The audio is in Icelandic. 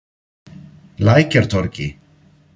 Lækjartorgi